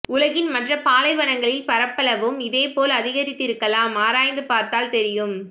உலகின் மற்ற பாலைவனங்களின் பரப்பளவும் இதேபோல் அதிகரித்திருக்கலாம் ஆராய்ந்து பார்த்தால் தெரியும்